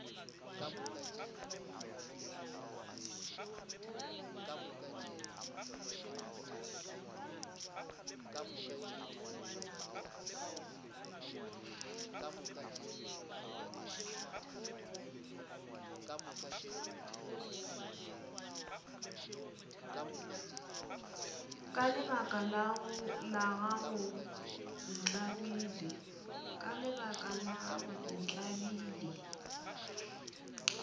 ka lebaka la gago ntlabile